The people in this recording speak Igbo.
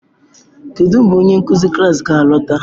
Kedu mgbe onye nkuzi klas ga-alọta?